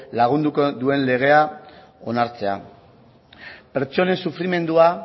lagunduko duen legea onartzea pertsonen sufrimendua